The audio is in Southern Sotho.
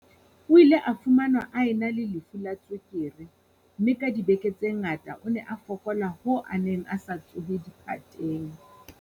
O ile a fumanwa a ena le lefu la tswekere, mme ka dibeke tse ngata o ne a fokola hoo a neng a sa tsohe diphateng.